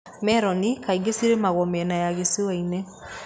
Meroni kaingĩ cirĩmagwo mĩena ya gĩcũa-inĩ.